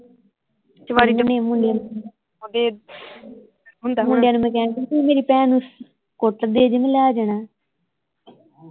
ਮੁੰਡਿਆਂ ਨੂੰ ਮੈਂ ਕਹਿਣ ਦੀ ਹੀ ਤੁਸੀਂ ਮੇਰੀ ਭੈਣ ਨੂੰ ਕੁੱਟਦੇ ਜੇ ਮੈਂ ਲੈ ਜਾਣਾ